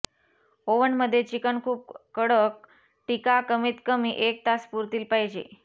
oven मध्ये chicken खूप कडक टीका कमीत कमी एक तास पुरतील पाहिजे